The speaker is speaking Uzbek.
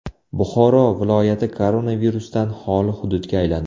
Buxoro viloyati koronavirusdan xoli hududga aylandi .